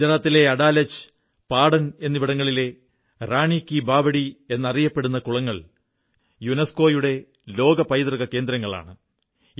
ഗുജറാത്തിലെ അഡാലജ് പാടൻ എന്നിവിടങ്ങളിലെ റാണീ കീ ബാവഡി എന്നറിയപ്പെടുന്ന കുളങ്ങൾ യുനസ്കോ ലോക പൈതൃക കേന്ദ്രങ്ങളാണ്